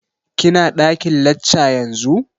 Ki na ɗakin lacca yanzu?